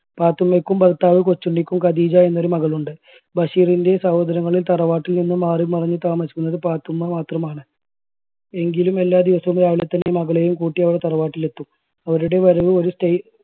പാത്തുമ്മക്കും ഭർത്താവ് കൊച്ചുണ്ണിക്കും ഖദീജ എന്ന ഒരു മകൾ ഉണ്ട്. ബഷീറിൻറെ സഹോദരങ്ങളിൽ തറവാട്ടിൽ നിന്നും മാറിമറിഞ്ഞ് താമസിക്കുന്നത് പാത്തുമ്മ മാത്രമാണ്. എങ്കിലും എല്ലാ ദിവസവും രാവിലെതന്നെ മകളെയും കൂട്ടി അവൾ തറവാട്ടിൽ എത്തും അവരുടെ വരവ് ഒരു style ~